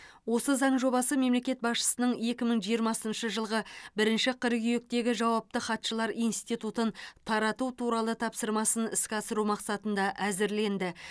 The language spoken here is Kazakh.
осы заң жобасы мемлекет басшысының екі мың жиырмасыншы жылғы бірінші қыркүйектегі жауапты хатшылар институтын тарату туралы тапсырмасын іске асыру мақсатында әзірленді